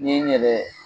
Ni n yɛrɛ